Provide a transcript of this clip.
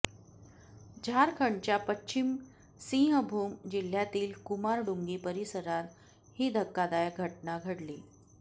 झारखंडच्या पश्चिम सिंहभूम जिल्ह्यातील कुमारडुंगी परिसरात ही धक्कादायक घटना घडली